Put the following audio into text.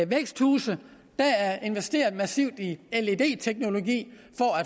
væksthuse der er investeret massivt i led teknologi